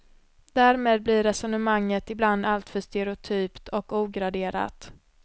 Därmed blir resonemanget ibland alltför stereotypt och ograderat.